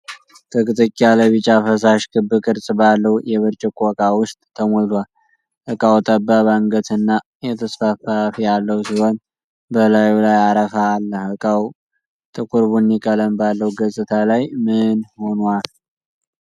ጥቅጥቅ ያለ ቢጫ ፈሳሽ ክብ ቅርጽ ባለው የብርጭቆ እቃ ውስጥ ተሞልቷል። እቃው ጠባብ አንገትና የተስፋፋ አፍ ያለው ሲሆን፣ በላዩ ላይ አረፋ አለ። እቃው ጥቁር ቡኒ ቀለም ባለው ገጽታ ላይ ምን ሆኗል?